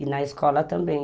E na escola também.